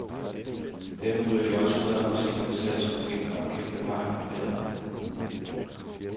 Dermed ryger de også ud af apotekernes salgslokaler og gemt af vejen på lageret.